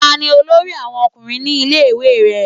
Ta ni olórí àwọn ọkùnrin ní ilé ìwé rẹ?